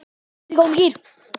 Ég er í góðum gír.